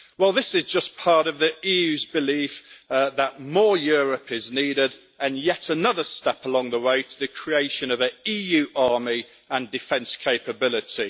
This is just part of the EU's belief that more Europe' is needed, and yet another step along the way to the creation of an EU army and defence capability.